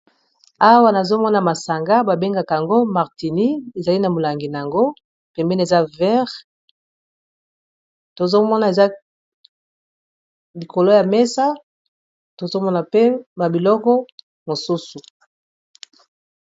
awa nazomona masanga babengaka yango martini ezali na molangi na yango pembene eza vert tozomona eza likolo ya mesa tozomona mpe babiloko mosusu